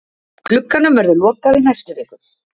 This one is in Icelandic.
Glugganum verður lokað í næstu viku.